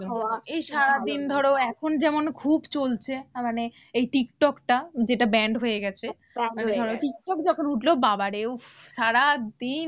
হওয়া এই সারাদিন ধরো এখন যেমন খুব চলছে মানে এই tik_tok টা যেটা band হয়ে গেছে tik tok যখন উঠলো বাবারে উফ সারাদিন